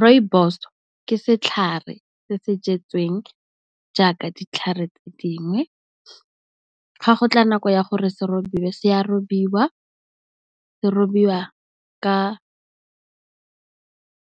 Rooibos ke setlhare se se jetsweng jaaka ditlhare tse dingwe, ga go tla nako ya gore se robiwa, se a robiwa, se a robiwa ka